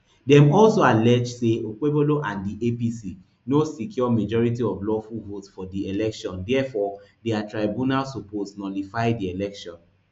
dem also allege say okpebholo and di apc no secure majority of lawful votes for di election diafore di tribunal suppose nullify di election